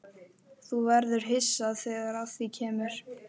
Þú verður hissa þegar að því kemur.